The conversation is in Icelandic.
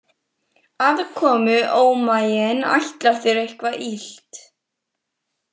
Aðkomuómaginn ætlar þér eitthvað illt.